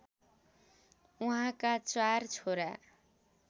उहाँका चार छोरा